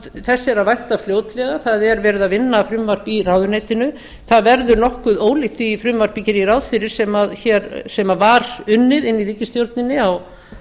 þess er að vænta fljótlega það er verið að vinna frumvarp í ráðuneytinu það verður nokkuð ólíkt því frumvarpi geri ég ráð fyrir sem var unnið inni í ríkisstjórninni á